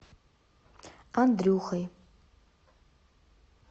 андрюхой